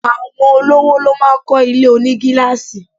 Àwọn olówò ló máá ń kọ́ ilé onigilaasi